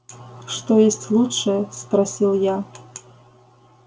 что есть лучше спросил я